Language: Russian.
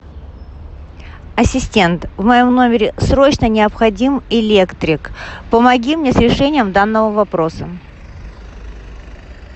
ассистент в моем номере срочно необходим электрик помоги мне с решением данного вопроса